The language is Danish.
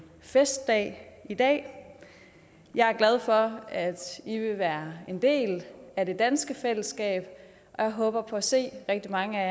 festdag i dag jeg er glad for at i vil være en del af det danske fællesskab og jeg håber på at se rigtig mange af